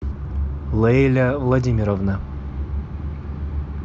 лейля владимировна